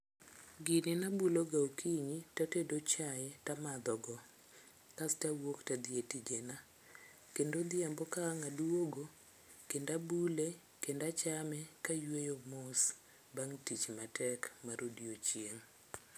Gini nabulo ga okinyi tatedo chai tamadho go kasto awuok tadhi e tijena kendo odhiambo ka ang' aduogo kendo abule kendo achame kayueyo mos bang tich matek mar odiochieng